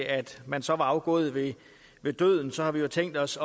at man så var afgået ved ved døden så har vi jo tænkt os